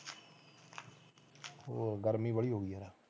ਹੋਰ ਗਰਮੀ ਬਾਹਲੀ ਹੋ ਗਈ ਹੈ